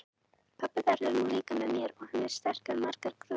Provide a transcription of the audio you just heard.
Pabbi verður nú líka með mér og hann er sterkari en margan grunar.